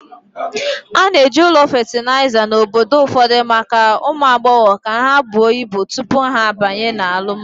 A na-eji ụlọ fatịlaịza na obodo ụfọdụ maka ụmụ agbọghọ ka ha buo ibu tupu ha abanye na alụmalu.